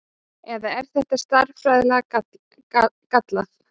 Eða er þetta stærðfræðilega gallað?